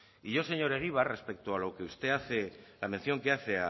y yo señor egibar respecto a lo que usted hace la mención que hace